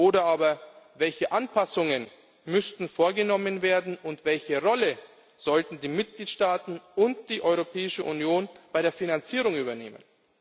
Oder aber Welche Anpassungen müssten vorgenommen werden, und welche Rolle sollten die Mitgliedstaaten und die Europäische Union bei der Finanzierung übernehmen?